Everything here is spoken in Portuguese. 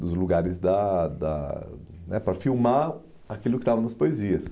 dos lugares da da para filmar aquilo que estava nas poesias.